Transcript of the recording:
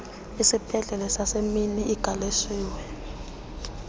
isibhedlele sasemini igaleshewe